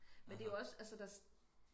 men det er jo også altså der